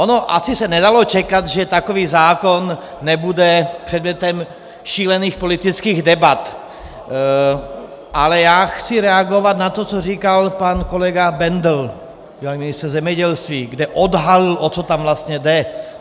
Ono se asi nedalo čekat, že takový zákon nebude předmětem šílených politických debat, ale já chci reagovat na to, co říkal pan kolega Bendl, bývalý ministr zemědělství, kde odhalil, o co tam vlastně jde.